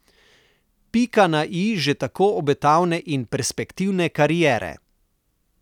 Pika na i že tako obetavne in perspektivne kariere.